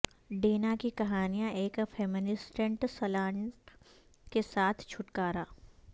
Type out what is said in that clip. ڈینہ کی کہانیاں ایک فیمینسٹنٹ سلانٹ کے ساتھ چھٹکارا